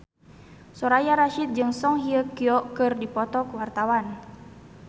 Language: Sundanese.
Soraya Rasyid jeung Song Hye Kyo keur dipoto ku wartawan